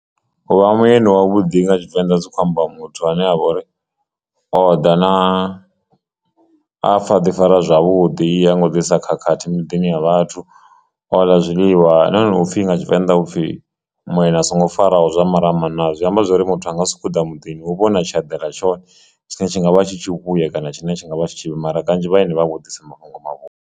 U vha mueni wa vhuḓi nga tshivenḓa zwi khou amba muthu ane avha ori oḓa na a pfha ḓi fara zwavhuḓi ha ngo ḓi isa khakhathi miḓini ya vhathu o ḽa zwiḽiwa na hone upfhi nga Tshivenḓa upfhi muyeni a songo faraho zwa maramani naa zwi amba zwori muthu anga si tou ḓa muḓini hu vha hu na tshe a ḓela tshone tshine tshi nga vha tshi tshi vhuya kana tshine tshi ngavha tshi tshivhi mara kanzhi vhaeni vha vho ḓisa mafhungo mavhuya.